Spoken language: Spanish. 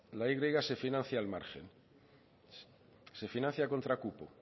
la y se financia al margen se financia contra cupo